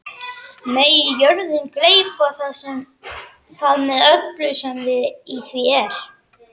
Megi jörðin gleypa það með öllu sem í því er!